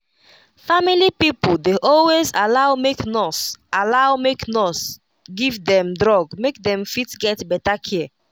family pipo dey always allow make nurse allow make nurse give dem drug make dem fit get better care